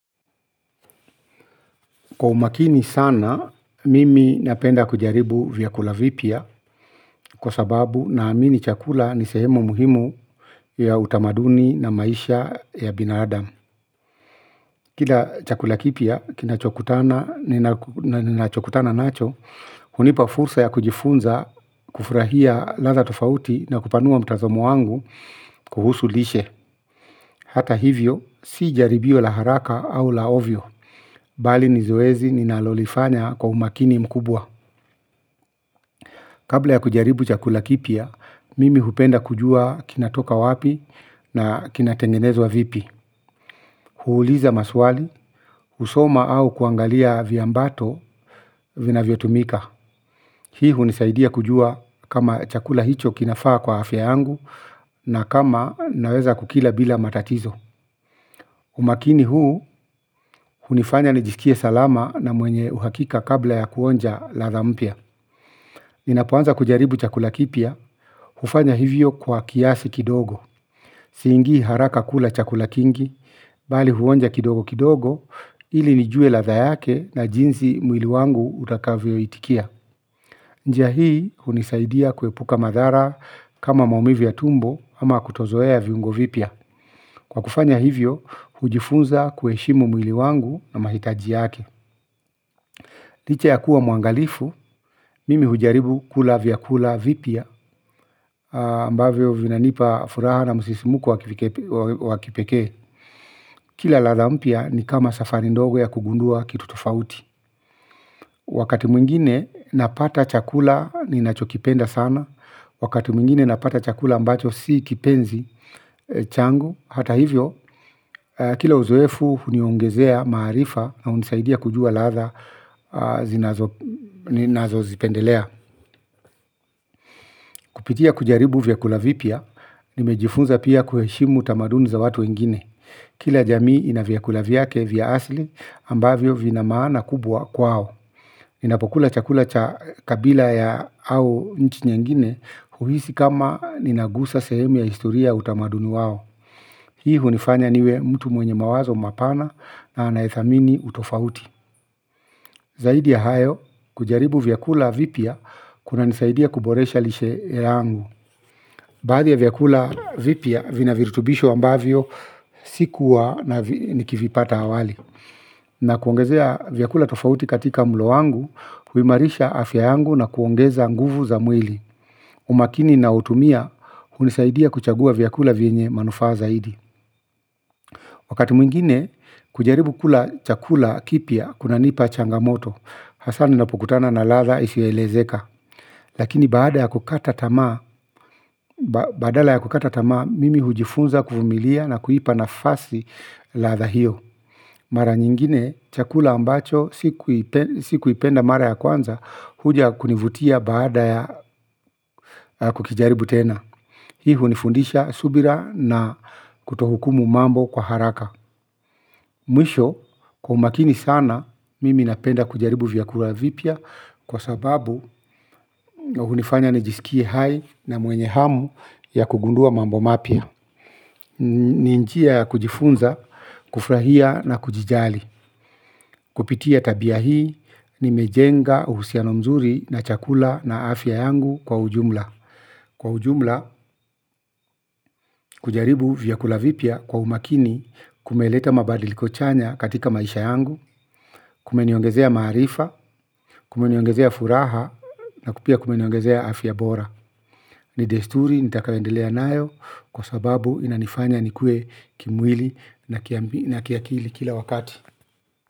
Kwa umakini sana, mimi napenda kujaribu vyakula vipya kwa sababu naamini chakula ni sehemu muhimu ya utamaduni na maisha ya binadamu. Kila chakula kipya, kinachokutana, ninachokutana nacho, hunipa fursa ya kujifunza kufurahia ladha tofauti na kupanua mtazamo wangu kuhusu lishe. Hata hivyo, si jaribio la haraka au la ovyo, bali ni zoezi ninalolifanya kwa umakini mkubwa. Kabla ya kujaribu chakula kipya mimi hupenda kujua kinatoka wapi na kinatengenezwa vipi. Huuliza maswali, husoma au kuangalia viambato vinavyotumika. Hii hunisaidia kujua kama chakula hicho kinafaa kwa afya yangu na kama naweza kukila bila matatizo. Umakini huu, hunifanya nijisikie salama na mwenye uhakika kabla ya kuonja ladha mpya. Ninapoanza kujaribu chakula kipya, hufanya hivyo kwa kiasi kidogo. Siingii haraka kula chakula kingi, bali huonja kidogo kidogo ili nijue ladha yake na jinsi mwili wangu utakavyoitikia njia hii hunisaidia kuepuka madhara kama maumivu ya tumbo ama kutozoea viungo vipya kwa kufanya hivyo, hujifunza kuheshimu mwili wangu na mahitaji yake. Licha ya kuwa mwangalifu, mimi hujaribu kula vyakula vipya, ambavyo vinanipa furaha na msisimuko wa kipekee. Kila ladha mpya ni kama safari ndogo ya kugundua kitu tofauti. Wakati mwingine napata chakula ninachokipenda sana, wakati mwingine napata chakula ambacho si kipenzi changu. Hata hivyo, kila uzoefu huniongezea maarifa na hunisaidia kujua ladha ninazozipendelea. Kupitia kujaribu vyakula vipya, nimejifunza pia kuheshimu tamaduni za watu wengine. Kila jamii ina vyakula vyake vya asili ambavyo vina maana kubwa kwao. Ninapokula chakula cha kabila ya au nchi nyingine huhisi kama ninagusa sehemu ya historia ya utamaduni wao. Hii hunifanya niwe mtu mwenye mawazo mapana na anayethamini utofauti zaidi ya hayo, kujaribu vyakula vipya, kunanisaidia kuboresha lishe yangu. Baadhi ya vyakula vipya vina virutubisho ambavyo sikuwa na nikivipata awali na kuongezea vyakula tofauti katika mlo wangu huimarisha afya yangu na kuongeza nguvu za mwili umakini ninaoutumia hunisaidia kuchagua vyakula vyenye manufaa zaidi wakati mwingine kujaribu kula chakula kipya kunanipa changamoto hasa ninapokutana na ladha isiyoelezeka lakini badala ya kukata tamaa mimi hujifunza kuvumilia na kuipa nafasi ladha hiyo mara nyingine, chakula ambacho, sikuipenda mara ya kwanza, huja kunivutia baada ya kukijaribu tena. Hii hunifundisha subira na kutohukumu mambo kwa haraka. Mwisho, kwa umakini sana, mimi napenda kujaribu vyakula vipya kwa sababu hunifanya nijisikie hai na mwenye hamu ya kugundua mambo mapya. Ni njia ya kujifunza, kufurahia na kujijali. Kupitia tabia hii, nimejenga uhusiano mzuri na chakula na afya yangu kwa ujumla. Kwa ujumla, kujaribu vyakula vipya kwa umakini kumeleta mabadiliko chanya katika maisha yangu, kumeniongezea maarifa, kumeniongezea furaha na pia kumeniongezea afya bora. Ni desturi nitakayoendelea nayo kwa sababu inanifanya nikue kimwili na kiakili kila wakati.